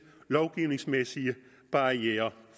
lovgivningsmæssige barrierer